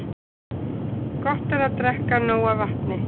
Gott er að drekka nóg af vatni.